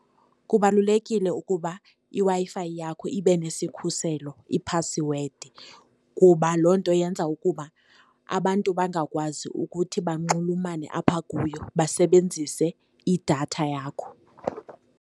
Kubalulekile ukuba iWi-Fi yakho ibe nesikhuselo, iphasiwedi, kuba loo nto yenza ukuba abantu bangakwazi ukuthi bunxulumane apha kuyo basebenzise idatha yakho.